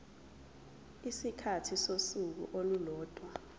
isikhathi sosuku olulodwa